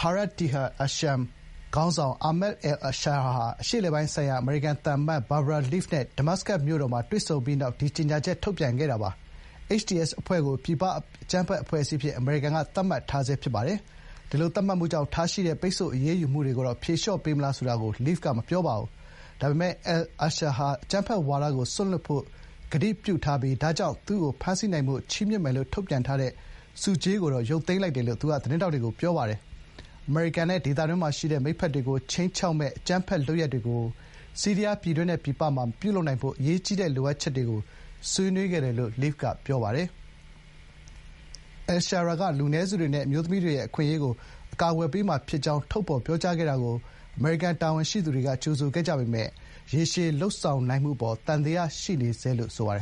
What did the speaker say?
Hayat Tahrir al-Sham ခေါင်းဆောင် Ahmad al-Sharaa နဲ့ အရှေ့အလယ်ပိုင်းဆိုင်ရာ အမေရိကန်သံတမန် Barbara Leaf တို့ ဒမတ်စကတ်မြို့တော်မှာ တွေ့ဆုံပြီးနောက် ဒီ ကြေညာချက် ထုတ်ပြန်ခဲ့တာပါ။ HTS အဖွဲ့ကို ပြည်ပအကြမ်းဖက်အဖွဲ့အစည်းအဖြစ် အမေရိကန်က သတ်မှတ်ထားဆဲ ဖြစ်ပါတယ်။ ဒီလို သတ်မှတ်မှုကြောင့် ထားရှိတဲ့ ပိတ်ဆို့အရေးယူမှုတွေကို ဖြေလျှော့ပေးမလား ဆိုတာကိုတော့ Leaf က မပြောပါဘူး။ ဒါပေမယ့် အယ်လ်ရှာရာက အကြမ်းဖက်ဝါဒကို စွန့်လွှတ်ဖို့ ကတိကဝတ်ပြုထားပြီး ဒါကြောင့် သူ့ကို ဖမ်းဆီးနိုင်ဖို့ ချီးမြှင့်မယ်လို့ ထုတ်ပြန်ထားတဲ့ ဆုကြေးကိုတော့ ရုပ်သိမ်းလိုက်တယ်လို့ သူက သတင်းထောက်တွေကို ပြောပါတယ်။ “အမေရိကန်နဲ့ ဒေသတွင်းမှာရှိတဲ့ မိတ်ဖက်တွေကို ခြိမ်းခြောက် မယ့် အကြမ်းဖက်လုပ်ရပ်တွေကို ဆီးရီးယားပြည်တွင်းနဲ့ ပြည်ပမှာ မပြုလုပ်နိုင်စေဖို့ အရေးကြီးတဲ့ လိုအပ်ချက်တွေကို ဆွေးနွေးခဲ့ပါတယ်” လို့ Leaf က ပြောပါတယ်။ အယ်လ်ရှာရာက လူနည်းစုတွေနဲ့ အမျိုးသမီးတွေရဲ့ အခွင့်အရေးကို အကာအကွယ်ပေးမှာ ဖြစ်ကြောင်း ထုတ်ဖော် ပြောကြားခဲ့တာကို အမေရိကန် တာဝန်ရှိသူတွေက ကြိုဆိုခဲ့ကြပေမယ့် ရေရှည် လုပ်ဆောင် နိုင်မှု အပေါ် သံသယရှိနေဆဲလို့ ဆိုပါတယ်